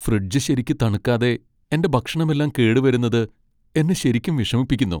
Fridge ശരിക്കു തണുക്കാതെ എന്റെ ഭക്ഷണമെല്ലാം കേട് വരുന്നത് എന്നെ ശരിക്കും വിഷമിപ്പിക്കുന്നു.